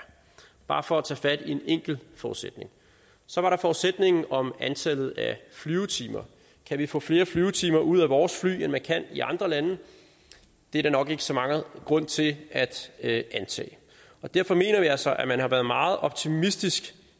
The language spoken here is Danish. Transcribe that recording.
bare for at tage fat i en enkelt forudsætning så var der forudsætningen om antallet af flyvetimer kan vi få flere flyvetimer ud af vores fly end man kan i andre lande det er der nok ikke så meget grund til at antage og derfor mener vi altså at man har været meget optimistisk